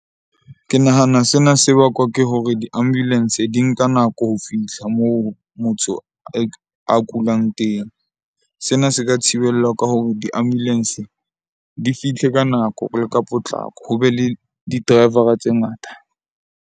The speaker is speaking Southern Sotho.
Ke nahana sena se bakwa ke hore di-ambulance di nka nako ho fihla moo motho a kulang teng. Sena se ka thibellwa ka hore di-ambulance di fihle ka nako o le ka potlako, ho be le di-driver-a tse ngata.